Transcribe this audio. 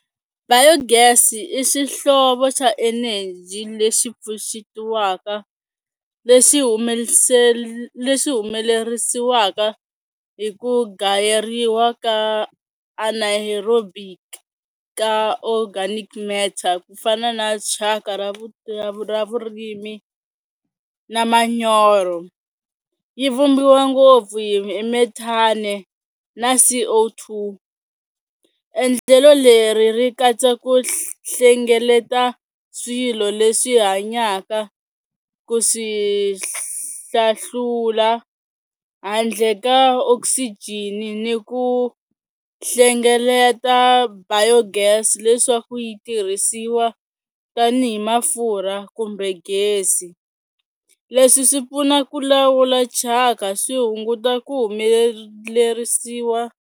Biogas i xihlovo xa eneji leyi pfuxetiwaka lexi lexi humelerisiwaka hi ku gayeriwa ka anaerobic ka organic matter ku fana na chaka ra ra vurimi na manyoro yi vumbiwa ngopfu hi methane na C_O two. Endlelo leri ri katsa ku hlengeleta swilo leswi hanyaka ku swi hlahlula handle ka oxygen-i ni ku hlengeleta Biogas leswaku yi tirhisiwa tanihi mafurha kumbe gezi, leswi swi pfuna ku lawula chaka swi hunguta ku .